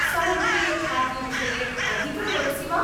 समुद्रीयखाद्यविषये अधिकं वदसि वा?